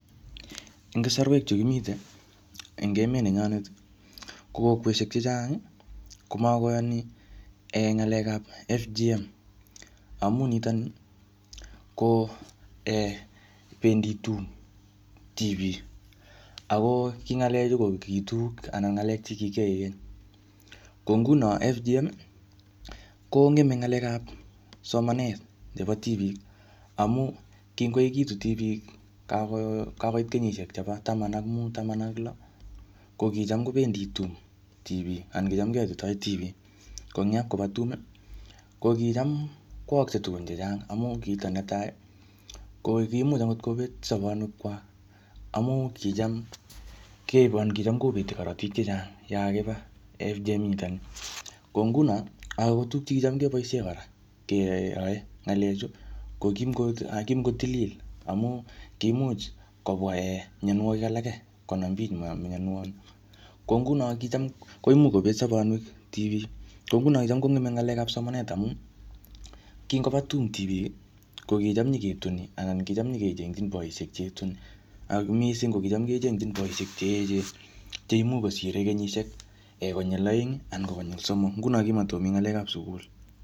Eng kasarwek chu kimite eng emet nenyonet, ko boisiek chechang komakoyani um ng'alekap FGM. Amu ntoni ko um bendi tum tibik. Ako ki ng'alek chu ko kiitu anan ng'alek che kikiyae keny. Ko nguno FGM, kongeme ng'alekap somanet chebo tibik. Amu ngikoekitu tibik, kako-kakoit kenyishiek chebo taman ak mut, taman ak lo, ko kicham kobendi tum tibik. Anan kicham keyatitoi tibik. Ko ingyapkoba tum, ko kicham koaakse tugun chechang. Amu kito netai, ko kimuch angot kobet sabanwek kwak. Amu kicham keibe anan kicham kobeti korotik chechang yakaba FGM nitoni. Ko nguno, angot tuguk che kicham kebosie kora keae ng'alek chu, ko kimuko- anan kimukotilil. Amuu kimuch kobwa um mianwogik alake konam bich mianwogik. Ko nguno kicham koimuch kobet sabanwek tibik. Ko nguno kicham kongeme ng'alekap somanet amu, ngikoba tum tibik, ko kicham nyiketuni, anan kicham nyikechengchin boisiek che ituni. Ako missing, ko kicham kechengchin boisiek che echen, che imuch kosire kenyishiek konyil aeng, anan ko konyil somok. Nguno kimatikomii ng'alek ap sugul.